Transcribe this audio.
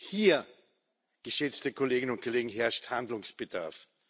Hier, geschätzte Kolleginnen und Kollegen, herrscht Handlungsbedarf.